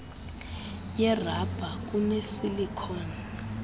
yerabha kune silicon